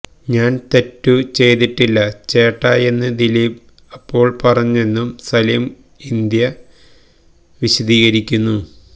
ഞാൻ തെറ്റു ചെയ്തിട്ടില്ല ചേട്ടായെന്ന് ദിലീപ് അപ്പോൾ പറഞ്ഞെന്നും സലിം ഇന്ത്യ വിശദീകരിക്കുന്നു